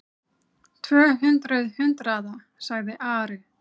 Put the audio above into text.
Tvö hundruð hundraða, sagði Ari.